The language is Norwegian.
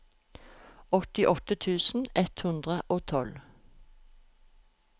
åttiåtte tusen ett hundre og tolv